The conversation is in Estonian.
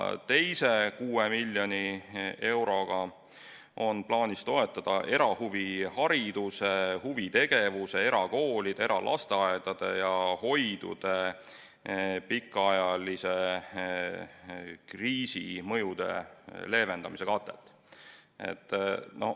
Teise 6 miljoni euroga on plaanis toetada erahuvihariduse ja -huvitegevuse ning erakoolide, eralasteaedade ja -hoidude pikaajalise kriisi mõjude leevendamist.